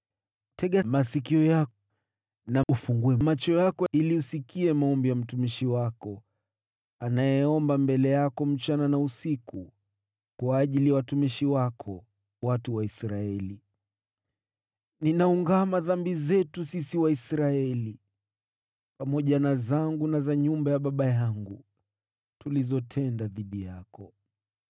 tega masikio yako, na ufungue macho yako, ili usikie maombi ya mtumishi wako anayoomba mbele yako usiku na mchana kwa ajili ya watumishi wako, watu wa Israeli. Ninaungama dhambi zetu sisi Waisraeli, pamoja na zangu na za nyumba ya baba yangu, tulizotenda dhidi yako.